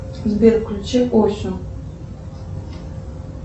сбер включи осю